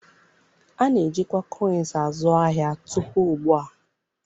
A na-ejikwa ego koịns azu ahịa tupu ugbu a